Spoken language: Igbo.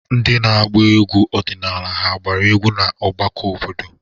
Ndị na-agba egwu ọdịnala hà agbara egwu na ọgbakọ obodo?